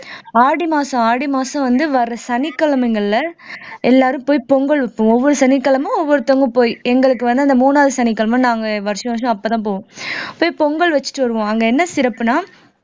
ஆடி மாசம் ஆடி மாசம் வந்து வர்ற சனிக்கிழமைகள்ல எல்லாரும் போய் பொங்கல் வைப்போம் ஒவ்வொரு சனிக்கிழமை ஒவ்வொருத்தங்க போய் எங்களுக்கு வந்து அந்த மூணாவது சனிக்கிழமை நாங்க வருஷம் வருஷம் அப்பதான் போவோம் போய் பொங்கல் வச்சுட்டு வருவோம் அங்க என்ன சிறப்புன்னா